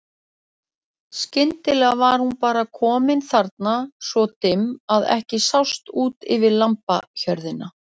Skyndilega var hún bara komin þarna svo dimm að ekki sást út yfir lambahjörðina.